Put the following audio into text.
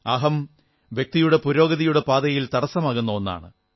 അഹം വ്യക്തിയുടെ പുരോഗതിയുടെ പാതയിൽ തടസ്സമാകുന്ന ഒന്നാണ്